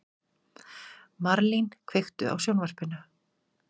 Marlín, kveiktu á sjónvarpinu.